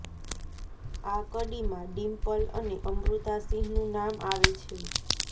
આ કડીમાં ડિમ્પલ અને અમૃતા સિંહનું નામ આવે છે